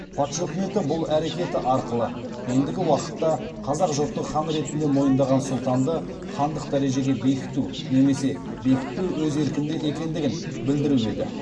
патша үкіметі бұл әрекеті арқылы ендігі уақытта қазақ жұрты хан ретінде мойындаған сұлтанды хандық дәрежеге бекіту немесе бекітпеу өз еркінде екендігін білдіруі еді